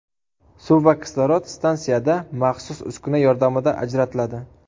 Suv va kislorod stansiyada maxsus uskuna yordamida ajratiladi.